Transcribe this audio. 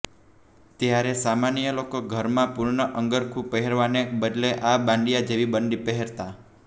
ત્યારે સામાન્ય લોકો ઘરમાં પૂર્ણ અંગરખું પહેરવાને બદલે આ બાંડિયા જેવી બંડી પહેરતા